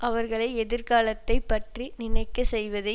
அவர்களை எதிர்காலத்தை பற்றி நினைக்க செய்வதே